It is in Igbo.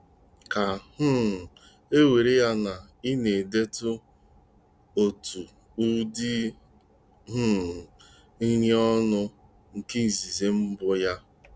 Ka um e were ya na ị na-edetụ otu ụdị um nri ọnụ na nke izizi mbụ ya.